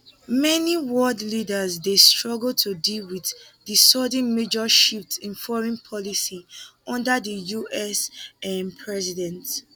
many world leaders dey struggle to deal wit di sudden major shifts in foreign policy under di us um president